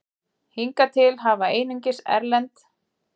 Hingað til hafa einungis erlend